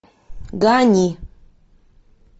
гани